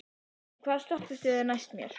Donni, hvaða stoppistöð er næst mér?